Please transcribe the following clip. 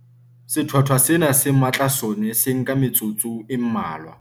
Sethwathwa sena se matla sona se nka metsotso e mmalwa.